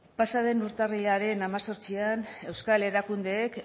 pasa den urtarrilaren hemezortzian euskal erakundeek